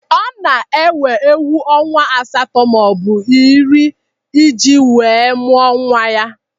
Ọ na-ewo ewu ọnwa asatọ maọbụ iri iji wee mụọ nwa ya.